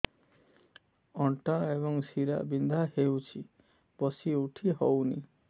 ଅଣ୍ଟା ଏବଂ ଶୀରା ବିନ୍ଧା ହେଉଛି ବସି ଉଠି ହଉନି